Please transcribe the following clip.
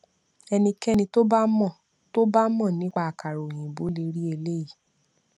ẹnikéni tó bá mọ tó bá mọ nípa àkàrà òyìnbó le rí eléyìí